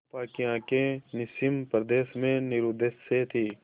चंपा की आँखें निस्सीम प्रदेश में निरुद्देश्य थीं